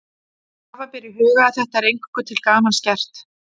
Hafa ber í huga að þetta er eingöngu til gamans gert.